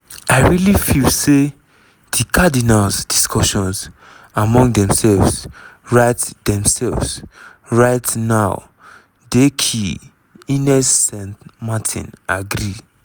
"i really feel say di cardinals' discussions among themselves right themselves right now dey key" ines san martin agree.